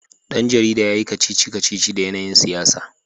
Dan jarida ya yi kacici-kacici da yanayin siyasa